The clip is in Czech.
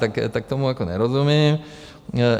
Tak tomu jako nerozumím.